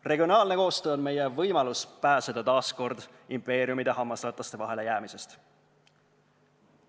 Regionaalne koostöö on meie võimalus pääseda taas impeeriumide hammasrataste vahele jäämisest.